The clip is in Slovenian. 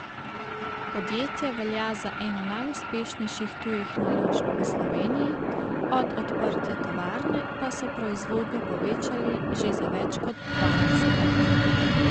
Podjetje velja za eno najuspešnejših tujih naložb v Sloveniji, od odprtja tovarne pa so proizvodnjo povečali že za več kot dvanajstkrat.